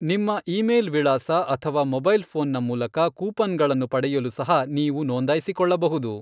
ನಿಮ್ಮ ಇಮೇಲ್ ವಿಳಾಸ ಅಥವಾ ಮೊಬೈಲ್ ಫೋನ್ನ ಮೂಲಕ ಕೂಪನ್ಗಳನ್ನು ಪಡೆಯಲು ಸಹ ನೀವು ನೋಂದಾಯಿಸಿಕೊಳ್ಳಬಹುದು.